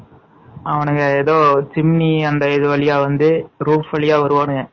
அவனுங்க ஏதோ சிம்னி அந்த வழியா வந்து roof வழியா வருவானுக